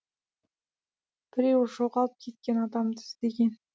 біреуі жоғалып кеткен адамды іздеген